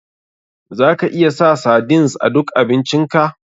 Za ka iya sa sardines a duk abincin ka.